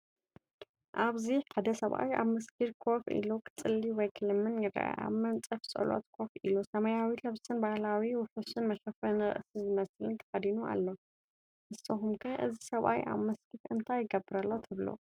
ኣብዚ ሓደ ሰብኣይ ኣብ መስጊድ ኮፍ ኢሉ ክጽሊ ወይ ክልምን ይርአ። ኣብ መንጸፍ ጸሎት ኮፍ ኢሉ፡ ሰማያዊ ልብስን ባህላዊ ውሑስን መሸፈኒ ርእሲ ዝመስልን ተኸዲኑ ኣሎ። ንስኩም ከ እዚ ሰብ ኣብ መስጊድ እንታይ ይገብር ኣሎ ትብሉ?